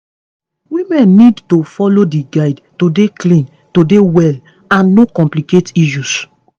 women need to follow di guide to dey clean to dey well and no complicate issues